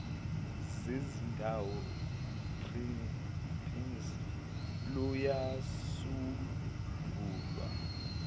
bezindawo pimss luyasungulwa